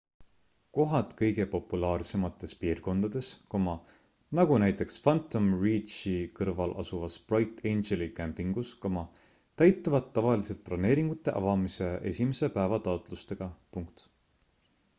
kohad kõige populaarsemates piirkondades nagu näiteks phantom ranchi kõrval asuvas bright angeli kämpingus täituvad tavaliselt broneeringute avamise esimese päeva taotlustega